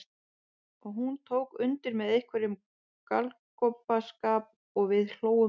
Og hún tók undir með einhverjum galgopaskap og við hlógum öll.